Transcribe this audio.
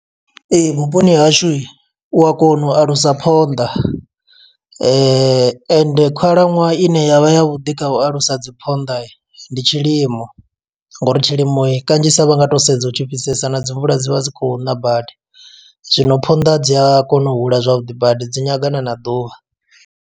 Ee, vhuponi hashu u a kona u alusa phonḓa, ende khalaṅwaha ine yavha ya vhuḓi kha u alusa dzi phonḓa ndi tshi lim. Nga uri tshilimo kanzhisa vha nga to sedza hu tshifhisesa na dzi mvula dzi vha dzi khou ṋa badi. Zwino phonḓa dzi a kona u hula zwavhuḓi badi dzi nyagana na ḓuvha.